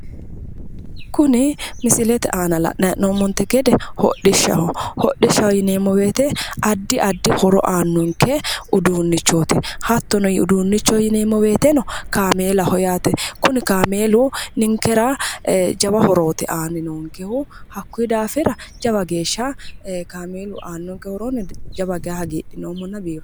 kuni misilete aana la'nummonte gede hodhishshaho hodhishshaho yineemmo wote addi addi horo aannonke uduunnichooti hattono uduunnichoho yineemmo woteno kaameelaho yaate kuni kaameeluno jawa horooti aannonkehu hakkunni daafira jawa geeshsha kaameelu aannonke horono jawa geye hagiidhinoommo.